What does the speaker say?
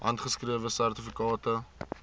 handgeskrewe sertifikate